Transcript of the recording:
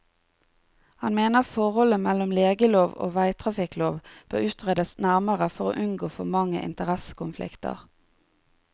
Han mener forholdet mellom legelov og veitrafikklov bør utredes nærmere for å unngå for mange interessekonflikter.